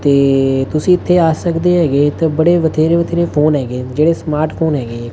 ਤੇ ਤੁਸੀ ਇੱਥੇ ਆ ਸਕਦੇ ਹੈਗੇ ਇੱਥੇ ਬੜੇ ਵਥੇਰੇ ਵਥੇਰੇ ਫੋਨ ਹੈਗੇ ਜਿਹੜੇ ਸਮਾਰਟ ਫ਼ੋਨ ਹੈਗੇ।